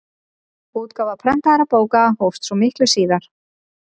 Útgáfa prentaðra bóka hófst svo miklu síðar.